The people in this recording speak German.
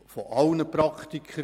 Das wurde auch gesagt.